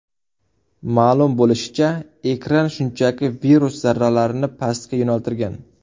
Ma’lum bo‘lishicha, ekran shunchaki virus zarralarini pastga yo‘naltirgan.